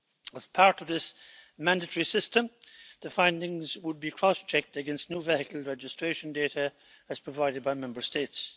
As part of this mandatory system, the findings would be cross checked against new vehicle registration data as provided by Member States.